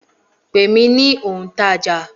Pè mí ní òǹtajà